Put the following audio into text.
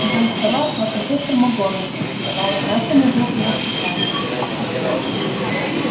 вдоль стола шла профессор макгонагалл и давала каждому в руки расписание